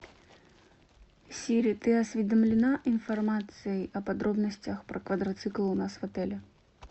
сири ты осведомлена информацией о подробностях про квадроциклы у нас в отеле